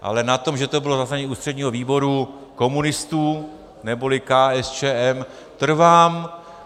Ale na tom, že to bylo zasedání ústředního výboru komunistů, neboli KSČM, trvám.